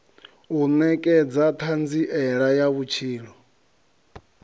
u nekedza thanziela ya vhutshilo